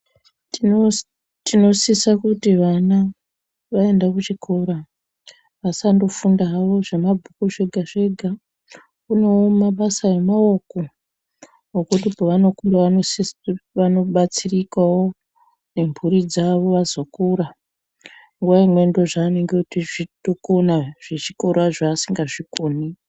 Tinosisa kuti vana vaenda kuchikora vasandofunda havo zvemabhuku zvega-zvega. Kunevo mabasa emaoko ekuti pavanokura vanosiso vanobatsirikavo ngemhuri dzavo vazokura. Nguva imwe ndozvinongei zvichitokona zvechikora zvasingazvikoni.